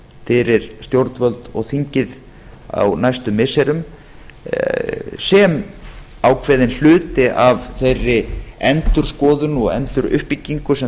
fyrir stjórnvöld og þingið á næstu missirum sem ákveðinn hluti af þeirri endurskoðun og enduruppbyggingu sem